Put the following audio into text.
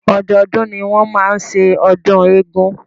Ọdọọdún ni wọ́n máa ń ṣe ọdún eégún.